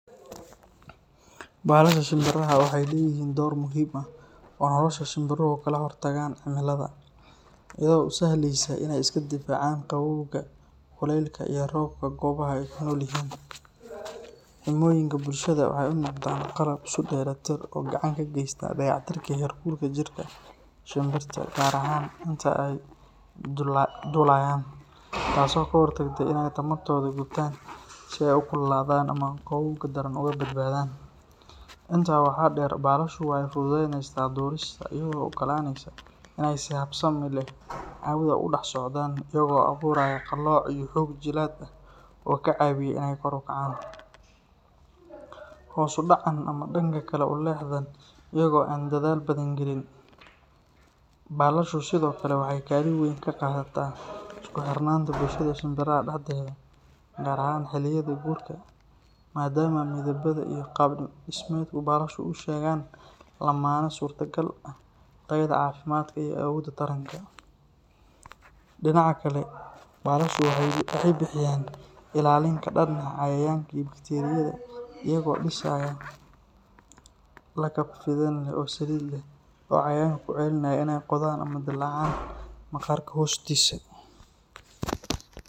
Balasha shimbiraha waxay leeyihiin door muhiim ah oo nolosha shimbiruhu kaga hortagaan cimilada, iyadoo u sahlaysa inay iska difaacaan qabowga, kulaylka iyo roobka goobaha ay ku nool yihiin. Xirmooyinka baalashoodu waxay u noqdaan qalab isku dheelitir ah oo gacan ka geysta dayactirka heerkulka jidhka shimbirta, gaar ahaan inta ay duulayaan, taasoo ka hortagta inay tamartooda gubtaan si ay u kululaadaan ama u qabowga daran uga badbaadaan. Intaa waxaa dheer, balashu waxay fududeyneysaa duulista iyadoo u oggolaanaysa inay si habsami leh hawada ugu dhex socdaan, iyagoo abuuraya qalooc iyo xoog jilaad ah oo ka caawiya in ay kor u kacaan, hoos u dhacaan ama dhanka kale u leexdaan iyaga oo aan dadaal badan gelin. Balashu sidoo kale waxay kaalin weyn ka qaadataan isku xirnaanta bulshada shimbiraha dhexdeeda, gaar ahaan xilliyada guurka, maadaama midabada iyo qaab dhismeedka baalashu u sheegaan lammaane suurtagal ah tayada caafimaadka iyo awoodda taranka. Dhinaca kale, balashu waxay bixiyaan ilaalin ka dhan ah cayayaanka iyo bakteeriyada iyagoo dhisaya lakab fidin leh oo saliid leh oo cayayaanka ka celinaya inay qodaan ama dillaacaan maqaarka hoostiisa.